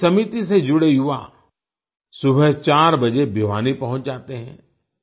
इस समिति से जुड़े युवा सुबह 4 बजे भिवानी पहुँच जाते हैं